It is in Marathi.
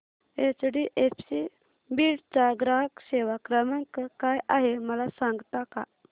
एचडीएफसी बीड चा ग्राहक सेवा क्रमांक काय आहे मला सांगता का